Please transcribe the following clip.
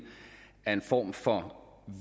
af en form for